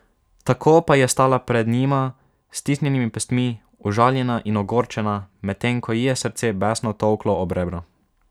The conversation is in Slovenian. Tako pa je stala pred njima s stisnjenimi pestmi, užaljena in ogorčena, medtem ko ji je srce besno tolklo ob rebra.